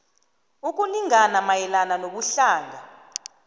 ukulingana mayelana nobuhlanga